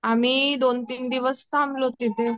आम्ही दोन तीन दिवस थांबलो तिथे